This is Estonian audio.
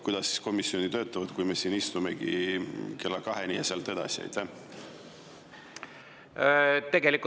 Kuidas siis komisjonid töötavad, kui me siin istumegi kella kaheni ja sealt edasi?